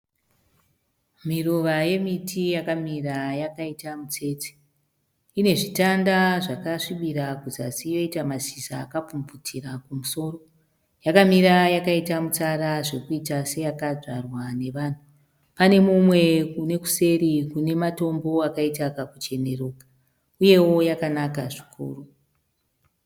Miruva yemiti yakamira yakaita mutsetse. Ine zvitanda zvakasvibira kuzasi yoita mashizha akapfumvutira kumusoro. Yakamira yakaita mutsara zvokuita seyakadzvarwa navanhu. Pane mumwe kune kuseri kune matombo akaita kakucheneruka uyewo yakanaka zvikuru.